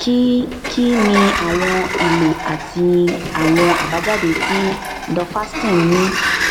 kí kí ni àwọn ìlo àti àwọn àbájáde tí duphaston ní